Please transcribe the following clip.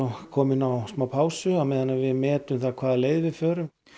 komin á smá pásu á meðan við metum það hvaða leið við förum